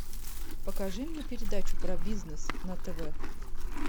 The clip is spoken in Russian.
покажи мне передачу про бизнес на тв